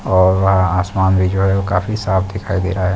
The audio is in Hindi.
और वहाँ आसमान भी जो है वो काफी साफ दिखाई दे रहा है।